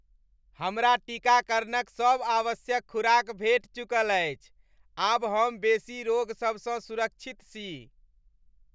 हमरा टीकाकरणक सभ आवश्यक खुराक भेटि चुकल अछि। आब हम बेसी रोग सब सँ सुरक्षित छी।